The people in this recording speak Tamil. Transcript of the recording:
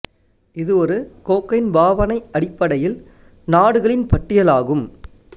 இது ஒரு கோக்கைன் பாவனை அடிப்படையில் நாடுகளின் பட்டியல் ஆகும்